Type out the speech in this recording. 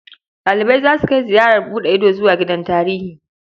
Ɗalibai za su kai ziyarar buɗe ido zuwa gidan tarihi.